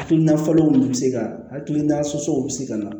Hakilina falenw be se ka hakilina sɔnsɔnw be se ka na